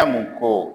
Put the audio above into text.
Ka mun ko